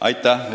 Aitäh!